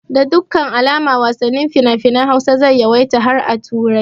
Da dukkan alamu wasannin finafinan Hausa zai yawaita har a turai